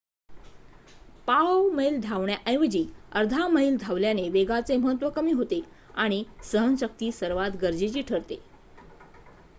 पाव मैल धावण्याऐवजी अर्धा मैल धावल्याने वेगाचे महत्त्व कमी होते आणि सहनशक्ती सर्वात गरजेची ठरते